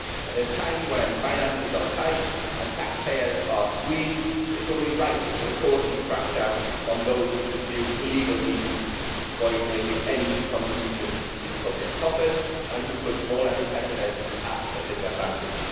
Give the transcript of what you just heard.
At a time when finances are tight and taxpayers are squeezed, it is only right that we crack down on those who pursue illegal means to avoid making any contribution to public coffers and who put smaller competitors at a disadvantage.